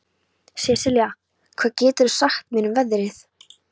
Sesilía, hvað geturðu sagt mér um veðrið?